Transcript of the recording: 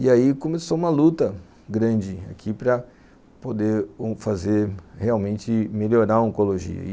E aí começou uma luta grande aqui para poder fazer realmente melhorar a oncologia.